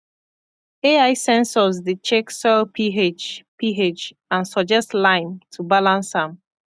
ai sensors dey check soil ph ph and suggest lime to balance am